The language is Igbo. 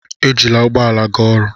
Ejila ụgbọ ala ga oru